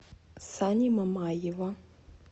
сани мамаева